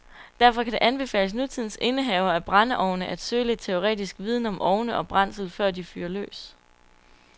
Derfor kan det anbefales nutidens indehavere af brændeovne, at søge lidt teoretisk viden om ovne og brændsel, før de fyrer løs.